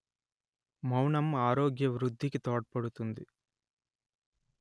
మౌనం ఆరోగ్య వృద్ధికి తోడ్పడుతుంది